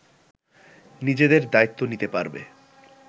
নিজেদের দায়িত্ব নিতে পারবে